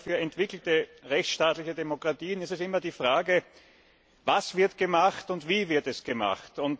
Aber für entwickelte rechtsstaatliche Demokratien stellt sich immer die Frage Was wird gemacht und wie wird es gemacht?